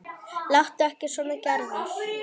Láttu ekki svona Gerður.